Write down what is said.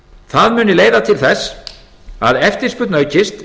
það muni leiða til þess að eftirspurn aukist